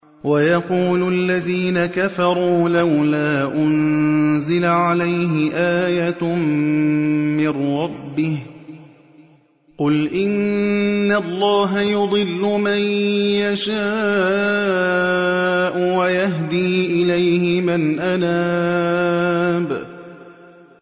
وَيَقُولُ الَّذِينَ كَفَرُوا لَوْلَا أُنزِلَ عَلَيْهِ آيَةٌ مِّن رَّبِّهِ ۗ قُلْ إِنَّ اللَّهَ يُضِلُّ مَن يَشَاءُ وَيَهْدِي إِلَيْهِ مَنْ أَنَابَ